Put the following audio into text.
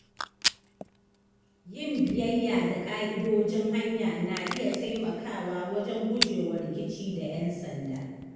Yin biyayya da ƙa’idojin hanya na iya taimakawa wajen gujewa rikici da ‘yan sanda.